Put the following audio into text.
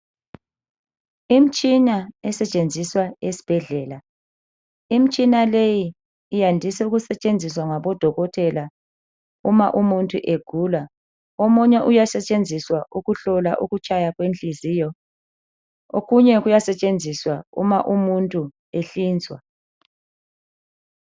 Imtshini esetshenziswa esibhedlela. Imtshini leyi yandiswa ukusetshenziswa ngabodokotela uma umuntu egula. Omunye uyasetshenziswa ukuhlola ukutshaya kwenhliziyo. Okunye kuyasetshenziswa uma umuntu ehlinzwa.